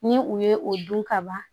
Ni u ye o dun ka ban